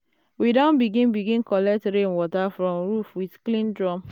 we don begin begin collect rainwater from roof with clean drum.